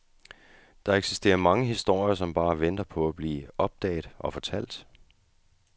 Der eksisterer mange historier, som bare venter på at blive opdaget og fortalt.